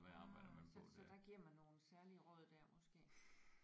Mhm så så der giver man nogle særlige råd der måske